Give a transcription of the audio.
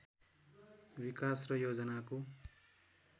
विकास र योजनाको